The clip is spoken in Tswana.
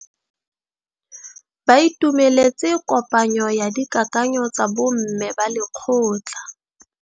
Ba itumeletse kôpanyo ya dikakanyô tsa bo mme ba lekgotla.